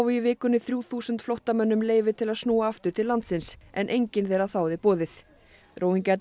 í vikunni þrjú þúsund flóttamönnum leyfi til að snúa aftur til landsins en enginn þeirra þáði boðið